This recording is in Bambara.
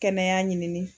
Kɛnɛya ɲini